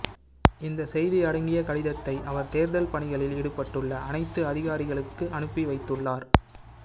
இந்த செய்தி அடங்கிய கடிதத்தை அவர் தேர்தல் பணிகளில் ஈடுபட்டுள்ள அனைத்து அதிகாரிகளுக்கு அனுப்பி வைத்துள்ளார்